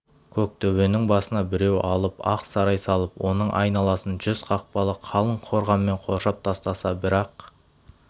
көктөбенің басына біреу алып ақ сарай салып оның айналасын жүз қақпалы қалың қорғанмен қоршап тастаса бірақ